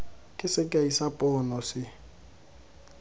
ke sekai sa pono se